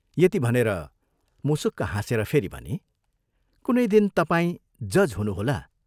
" यति भनेर मुसुक्क हाँसेर फेरि भनी, "कुनै दिन तपाईं जज हुनुहोला।